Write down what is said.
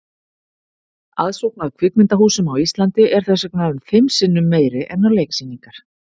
Aðsókn að kvikmyndahúsum á Íslandi er þess vegna um fimm sinnum meiri en á leiksýningar.